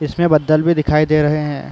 इसमें बद्दल भी दिखाई दे रहे हैं।